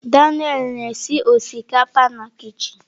Daniel na-esi osikapa na kichin.